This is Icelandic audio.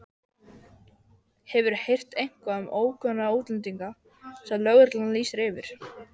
Hefurðu heyrt eitthvað um ókunnuga útlendinga sem lögreglan lýsir eftir?